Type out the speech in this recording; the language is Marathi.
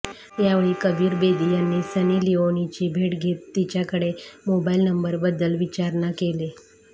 यावेळी कबीर बेदी यांनी सनी लिओनीची भेट घेत तिच्याकडे मोबाइल नंबरबद्दल विचारणा केली